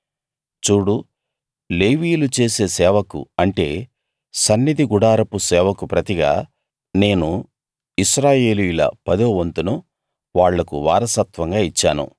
చూడు లేవీయులు చేసే సేవకు అంటే సన్నిధి గుడారపు సేవకు ప్రతిగా నేను ఇశ్రాయేలీయుల పదోవంతును వాళ్లకు వారసత్వంగా ఇచ్చాను